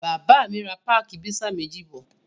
Bàbá mi ra páákì pizza méjì bọ̀.